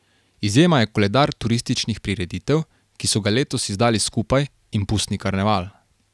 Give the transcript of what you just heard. Izjema je koledar turističnih prireditev, ki so ga letos izdali skupaj, in pustni karneval.